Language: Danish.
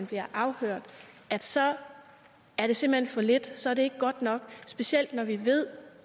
bliver afhørt så er det simpelt hen for lidt så er det ikke godt nok specielt når vi ved